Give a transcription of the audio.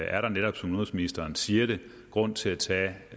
er der netop som udenrigsministeren siger det grund til at tage